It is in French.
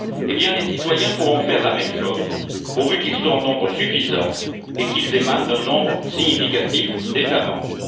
Eh bien, les citoyens pourront faire la même chose, pourvu qu'ils soient en nombre suffisant et qu'ils émanent d'un nombre significatif d'États membres.